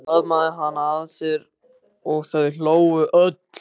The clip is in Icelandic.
Örn faðmaði hana að sér og þau hlógu öll.